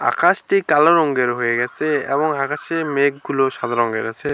আকাশটি কালো রঙের হয়ে গেসে এবং আকাশে মেঘগুলো সাদা রঙের আছে।